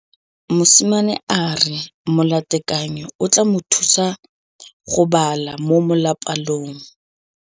Mosimane a re molatekanyô o tla mo thusa go bala mo molapalong.